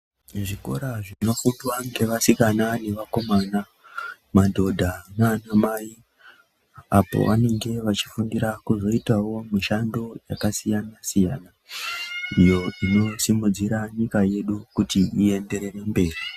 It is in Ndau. Muzvikora zvinofundwe ngevasikana ngevakomana, madhodha nanamai, apo vanenge veyifundira kuzoitawo mushando yakasiyana siyana . Iyo inosimudzira nyika yedu kuti iyenderere mberi.